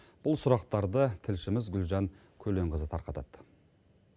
бұл сұрақтарды тілшіміз гүлжан көленқызы тарқатады